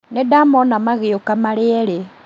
Nĩndamona magĩũka marĩ erĩ